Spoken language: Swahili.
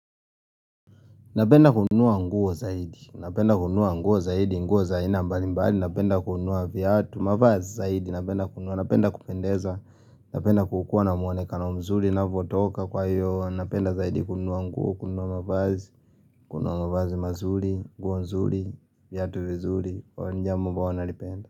Napenda kununua nguo zaidi, napenda kununua nguo zaidi, nguo za aina mbalimbali, napenda kunua viatu, mavazi zaidi, napenda kununua, napenda kupendeza, napenda kukuwa na mwonekano mzuri, ninavyotoka kwa hiyo, napenda zaidi kununua nguo, kunua mavazi, kununua mavazi mazuri, nguo nzuri, viatu vizuri, hio ni jambo ambalo huwa nalipenda.